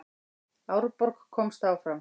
Árborg komst áfram